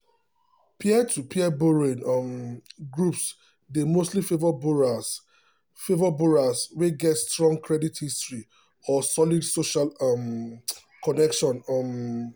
peer-to-peer borrowing um groups dey mostly favour borrowers favour borrowers wey get strong credit history or solid social um connection. um